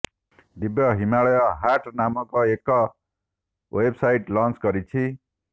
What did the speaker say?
ଦିବ୍ୟା ହିମାଳୟ ହାଟ ନାମକ ଏକ website launch କରିଛନ୍ତି